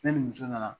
Ne ni muso nana